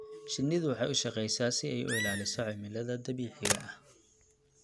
Shinnidu waxay u shaqeysaa si ay u ilaaliso cimilada dabiiciga ah.